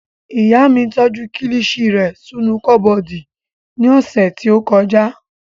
Ìyá mi tọ́jú kilishi rẹ̀ sínú kọ́bọ̀dù ní ọ̀sẹ̀ tí ó kọjá